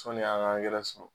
Sɔni an ŋa angɛrɛ sɔrɔ